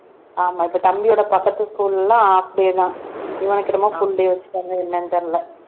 ஆமா இப்ப தம்பியோட பக்கத்து school எல்லாம் half day தான் இவனுக்கு என்னமோ full day வச்சுட்டாங்க என்னன்னு தெரியல